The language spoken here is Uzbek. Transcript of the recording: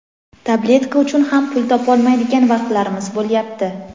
tabletka uchun ham pul topolmaydigan vaqtlarimiz bo‘lyapti.